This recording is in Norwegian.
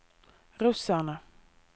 russerne